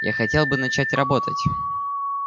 я хотел бы начать работать